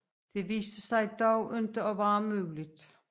Det viste sig dog ikke at være muligt